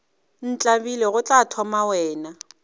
ntlabile go tla thoma wena